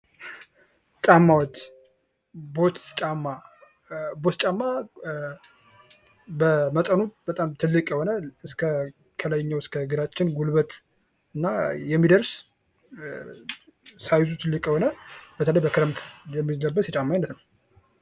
ጫማዎች፡-ቦት ጫማ በመጠኑ በጣም ትልቅ የሆነ ከላይኛው የእግራችን ጉልበት የሚደርስ በተለይ በክረምት የሚለበስ የጫማ አይነት ነው ።